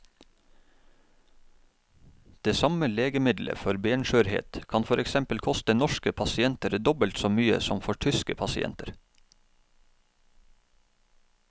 Det samme legemiddelet for benskjørhet kan for eksempel koste norske pasienter dobbelt så mye som for tyske pasienter.